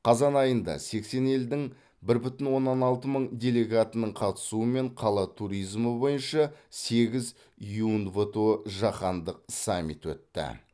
қазан айында сексен елдің бір бүтін оннан алты мың делегатының қатысуымен қала туризмі бойынша сегіз юнвто жаһандық саммит өтті